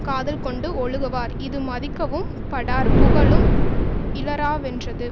காதல் கொண்டு ஒழுகுவார் இது மதிக்கவும் படார் புகழும் இலராவென்றது